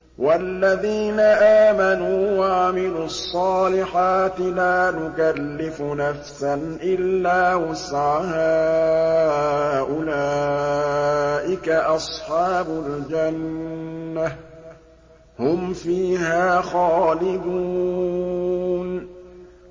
وَالَّذِينَ آمَنُوا وَعَمِلُوا الصَّالِحَاتِ لَا نُكَلِّفُ نَفْسًا إِلَّا وُسْعَهَا أُولَٰئِكَ أَصْحَابُ الْجَنَّةِ ۖ هُمْ فِيهَا خَالِدُونَ